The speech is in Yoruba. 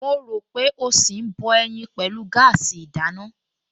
Mo rò pé ó ṣì ń bọ ẹyin pẹ̀lú gáàsì ìdáná